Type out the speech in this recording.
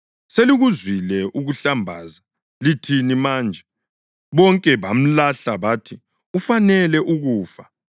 Selikuzwile ukuhlambaza. Lithini manje?” Bonke bamlahla bathi ufanele ukufa.